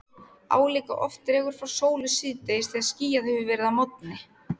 Álíka oft dregur frá sólu síðdegis þegar skýjað hefur verið að morgni.